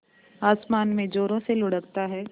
आसमान में ज़ोरों से लुढ़कता है